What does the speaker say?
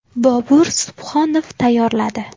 Bobur Subhonov tayyorladi.